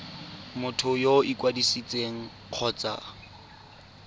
motho yo o ikwadisitseng kgotsa